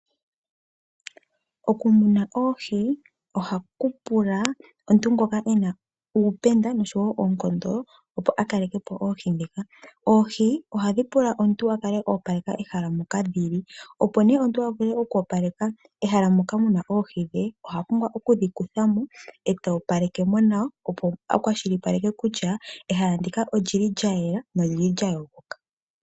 Okumuna oohi ohaku pula omuntu ngoka ena uupenda noonkondo opo akalekepo oohi. Oohi ohadhi pula omuntu opo akale opaleka ehala moka dhili, nuuna omuntu to opaleke ehala okwa pumbwa oku kutha mo oohi, opo a kwashilipaleka kutya omwayela nanolya yogoka nawa.